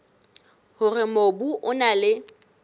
hore mobu o na le